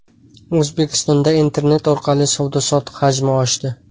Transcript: O‘zbekistonda Internet orqali savdo-sotiq hajmi oshdi.